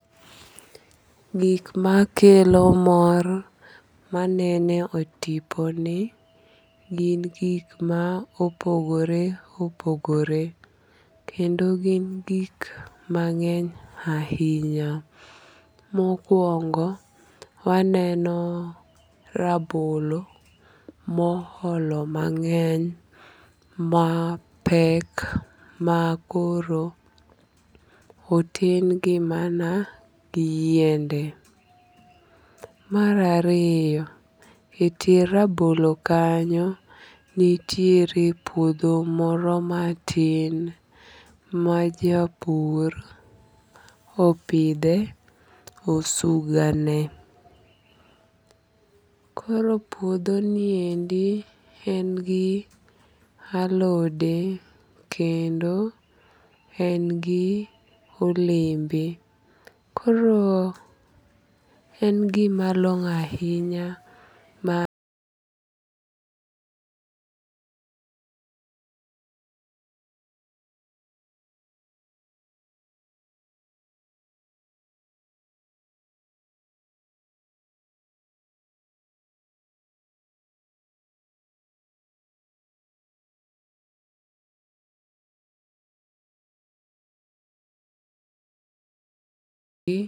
Gik makelo mor manene e tipo ni gin gik ma opogore opogore. Kendo gin gik mang'eny ahinya. Mokuongo waneno rabolo moholo mang'eny mapek makoro oten gi mana gi yiende. Mar ariyo, e tie rabolo kanyo nitiere puodho moro matin majapur opidhe osuga ne. Koro puodho niendi en gi alode kendo en gi olembe. Koro en gima long'o ahinya.